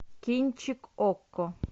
кинчик окко